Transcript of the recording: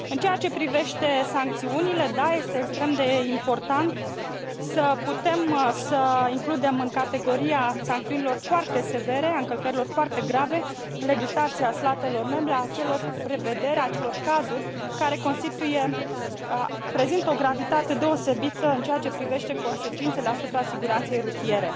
În ceea ce privește sancțiunile, da, este extrem de important să putem să includem în categoria sancțiunilor foarte severe, a încălcărilor foarte grave, în legislația statelor membre a acelor prevederi, a acelor cazuri care prezintă o gravitate deosebită în ceea ce privește consecințele asupra siguranței rutiere.